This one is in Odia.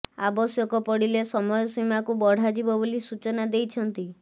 ଆବଶ୍ୟକ ପଡ଼ିଲେ ସମୟସୀମା କୁ ବଢ଼ାଯିବ ବୋଲି ସୂଚନା ଦେଇଛନ୍ତି